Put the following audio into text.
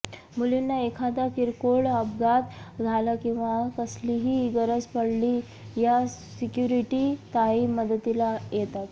मुलींना एखादा किरकोळ अपघात झाला किंवा कसलीही गरज पडली या सिक्युरिटी ताई मदतीला येतात